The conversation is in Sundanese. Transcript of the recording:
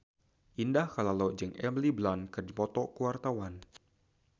Indah Kalalo jeung Emily Blunt keur dipoto ku wartawan